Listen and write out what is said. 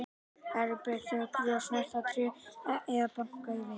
Það er útbreidd hjátrú að snerta tré eða banka í við.